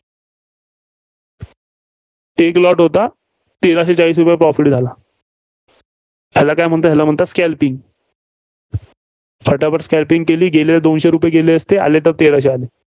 एक lot होता. तेराशे चाळीस रुपये profit झाला. याला का म्हणतात? याला म्हणतात scalping फटाफट scalping गेल तर दोनशे रुपये गेले असते, आले तर तेराशे आले.